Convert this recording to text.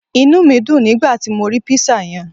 Inúmídun nígbàti mo ri Pizza yen